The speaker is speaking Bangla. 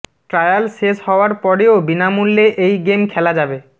ট্রায়াল শেষ হওয়ার পরেও বিনামূল্যে এই গেম খেলা যাবে